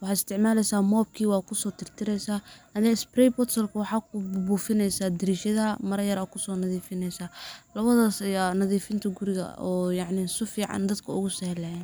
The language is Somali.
waxa isticmaaleysa mobkii, wad kuso tirtireysaa, adi spray botolki adku buufineysa dariishadaha mara yar ad kuso nadiifineysa, labadaas aya nadiifinta guriga oo yacni su fican dadka ogu sahlayaan